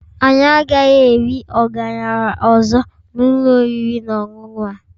Anyị agaghị eri ọgaranya ọzọ na ụlọ oriri na ọṅụṅụ a